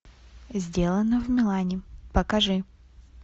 сделано в милане покажи